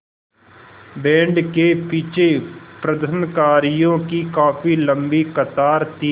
band के पीछे प्रदर्शनकारियों की काफ़ी लम्बी कतार थी